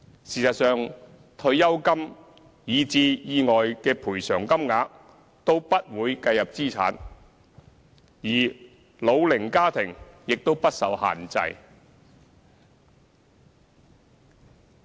事實上，退休金以至意外的賠償金額都不會計入資產，而老齡家庭亦不受限制。